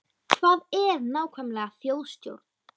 Hvað er nákvæmlega þjóðstjórn?